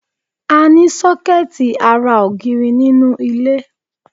A ní sọ́kẹ́ẹ̀tì ará ògiri nínú ilé.